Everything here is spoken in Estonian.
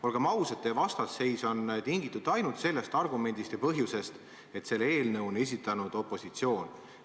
Olgem ausad, teie vastasseis on tingitud ainult sellest põhjusest, et selle eelnõu on esitanud opositsioon.